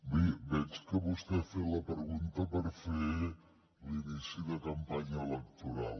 bé veig que vostè ha fet la pregunta per fer l’inici de campanya electoral